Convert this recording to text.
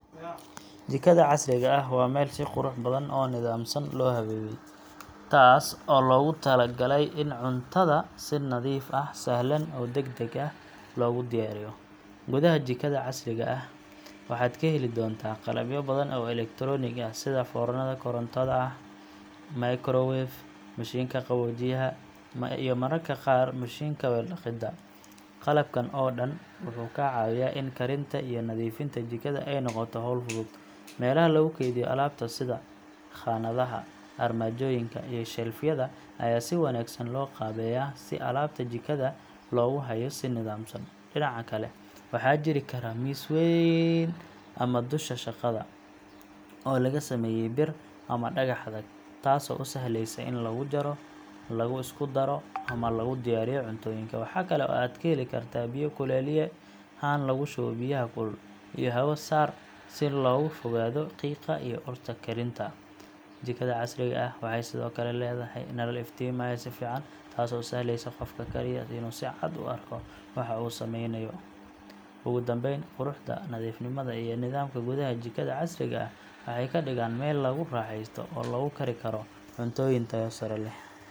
Jikada casriga ah waa meel si qurux badan oo nidaamsan loo habeeyay, taas oo loogu talagalay in cuntada si nadiif ah, sahlan, oo degdeg ah loogu diyaariyo. Gudaha jikada casriga ah waxaad ka heli doontaa qalabyo badan oo elektaroonik ah sida foornada korontada ah, microwave, mashiinka qaboojiyaha, iyo mararka qaar mashiinka weel dhaqidda. Qalabkan oo dhan wuxuu kaa caawinayaa in karinta iyo nadiifinta jikada ay noqoto hawl fudud. Meelaha lagu kaydiyo alaabta sida khaanadaha, armaajooyinka, iyo shelf yada ayaa si wanaagsan loo qaabeeyaa si alaabta jikada loogu hayo si nidaamsan. Dhinaca kale, waxaa jiri kara miis weyn ama dusha shaqada oo laga sameeyay bir ama dhagax adag, taasoo u sahlaysa in lagu jaro, lagu isku daro ama lagu diyaariyo cuntooyinka. Waxaa kale oo aad ka heli kartaa biyo kululeeye, haan lagu shubo biyaha kulul, iyo hawo-saar si looga fogaado qiiqa iyo urta karinta. Jikada casriga ah waxay sidoo kale leedahay nalal iftiimaya si fiican, taasoo u sahlaysa qofka karaya inuu si cad u arko waxa uu sameynayo. Ugu dambeyn, quruxda, nadiifnimada, iyo nidaamka gudaha jikada casriga ah waxay ka dhigaan meel lagu raaxaysto oo lagu kari karo cuntooyin tayo sare leh.